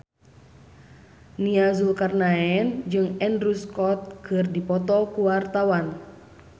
Nia Zulkarnaen jeung Andrew Scott keur dipoto ku wartawan